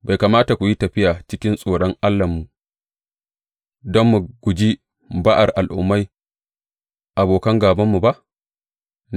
Bai kamata ku yi tafiya cikin tsoron Allahnmu don mu guji ba’ar Al’ummai abokan gābanmu ba?